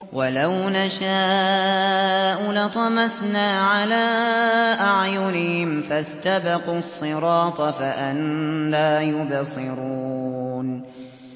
وَلَوْ نَشَاءُ لَطَمَسْنَا عَلَىٰ أَعْيُنِهِمْ فَاسْتَبَقُوا الصِّرَاطَ فَأَنَّىٰ يُبْصِرُونَ